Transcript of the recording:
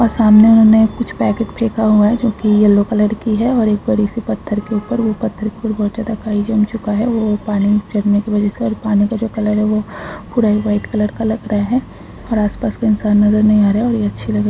और सामने उन्हे कुछ पैकेट फेका हुआ है जोकि येल्लो कलर की है और एक बड़ीसी पत्थर के उपर वो पत्थर के उपर बहुत ज्यादा काई जम चूका है वो पानी फेकने के वजह से और पानी का जो कलर है वो पूरा ही व्हाइट कलर का लग रहा है और आसपास कोई इन्सान नज़र नहीं आ रहा है। और ये अच्छी लग रही--